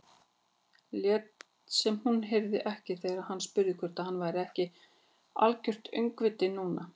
Lét sem hún heyrði ekki þegar hann spurði hvort hann væri ekki algert öngvit núna.